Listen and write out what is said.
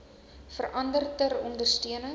verander ter ondersteuning